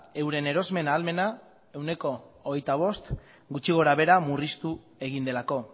euren erosmen ahalmena ehuneko hogeita bost gutxi gorabehera murriztu egin delako